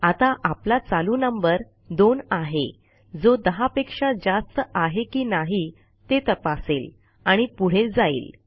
आता आपला चालू नंबर 2 आहे जो 10पेक्षा जास्त आहे की नाही ते तपासेल आणि पुढे जाईल